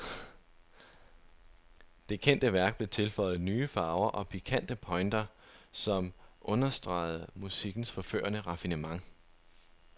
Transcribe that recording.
Det kendte værk blev tilføjet nye farver og pikante pointer, som understregede musikkens forførende raffinement.